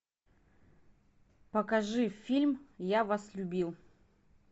покажи фильм я вас любил